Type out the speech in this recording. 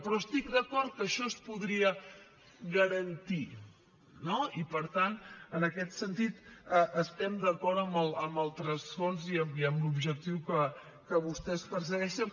però estic d’acord que això es podria garantir no i per tant en aquest sentit estem d’acord amb el transfons i amb l’objectiu que vostès persegueixen